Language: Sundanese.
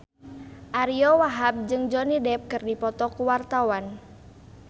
Ariyo Wahab jeung Johnny Depp keur dipoto ku wartawan